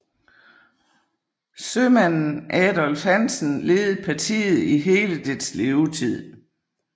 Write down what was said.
Sømanden Adolf Hansen ledede partiet i hele dets levetid